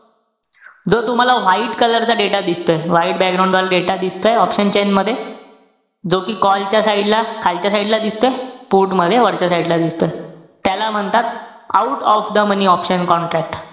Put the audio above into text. जो तुम्हाला white color चा data दिसतोय, white वाला data दिसतोय, option chain मध्ये. जो कि call च्या side ला, खालच्या side ला दिसतोय. put मध्ये वरच्या side ला दिसतोय. त्याला म्हणतात, out of the money option contract.